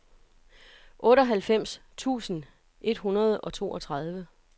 otteoghalvfems tusind et hundrede og toogtredive